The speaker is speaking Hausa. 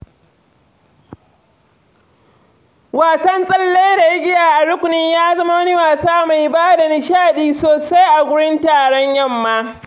Wasan tsalle da igiya a rukuni ya zama wani wasa mai bada nishaɗi sosai a gurin taron yamma.